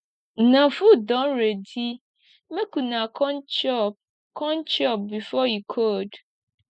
una food don ready make una come chop come chop before e cold